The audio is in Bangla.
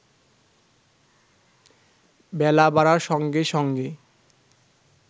বেলা বাড়ার সঙ্গে সঙ্গে